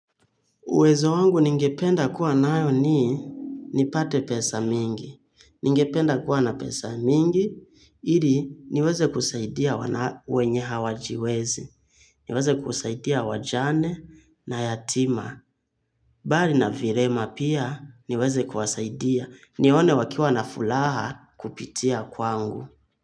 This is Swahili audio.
Uwezo wangu ningependa kuwa nayo ni, nipate pesa mingi. Ningependa kuwa na pesa mingi, ili niweze kusaidia wana wenye hawajiwezi. Niweze kusaidia wajane na yatima. Mbali na vilema pia niweze kuwasaidia. Nione wakiwa nafuraha kupitia kwangu.